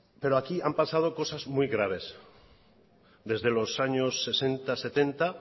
pero aquí han pasado cosas muy graves desde los años sesenta setenta